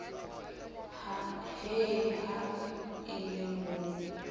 he ha e le mo